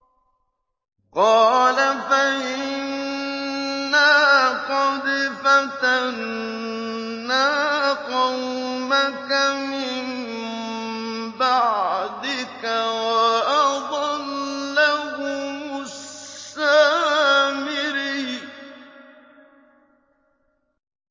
قَالَ فَإِنَّا قَدْ فَتَنَّا قَوْمَكَ مِن بَعْدِكَ وَأَضَلَّهُمُ السَّامِرِيُّ